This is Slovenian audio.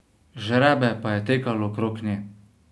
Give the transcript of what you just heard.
Žrebe pa je tekalo okrog nje.